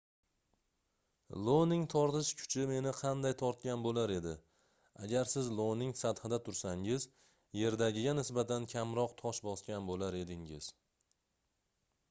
ioning tortish kuchi meni qanday tortgan boʻlar edi agar siz ioning sathida tursangiz yerdagiga nisbatan kamroq tosh bosgan boʻlar edingiz